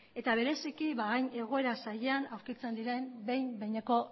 eta bereziki hain egoera zailean aurkitzen diren behin behineko